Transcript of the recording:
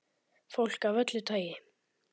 Fólk af öllu tagi.